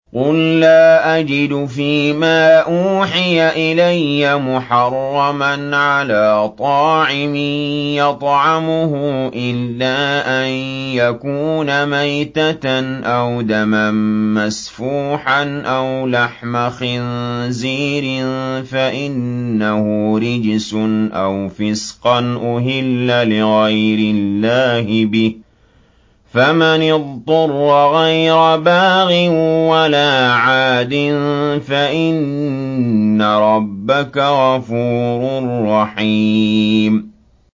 قُل لَّا أَجِدُ فِي مَا أُوحِيَ إِلَيَّ مُحَرَّمًا عَلَىٰ طَاعِمٍ يَطْعَمُهُ إِلَّا أَن يَكُونَ مَيْتَةً أَوْ دَمًا مَّسْفُوحًا أَوْ لَحْمَ خِنزِيرٍ فَإِنَّهُ رِجْسٌ أَوْ فِسْقًا أُهِلَّ لِغَيْرِ اللَّهِ بِهِ ۚ فَمَنِ اضْطُرَّ غَيْرَ بَاغٍ وَلَا عَادٍ فَإِنَّ رَبَّكَ غَفُورٌ رَّحِيمٌ